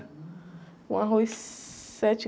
Com arroz sete